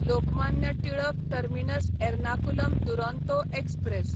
Lokmanya Tilak terminus Ernakulam Duronto express